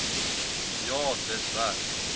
ja dis reg